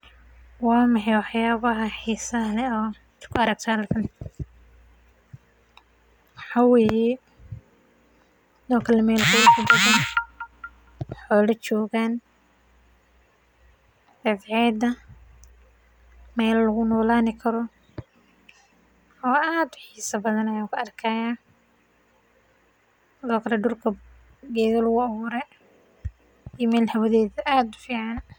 Waa maxay waxyabaha xisaha leh aa mesha ku arkakto waa in ee jogan cad ceda waa meel aad u fican oo gedha lagu abure sithokale cimiladeda aad u fican sithas waye.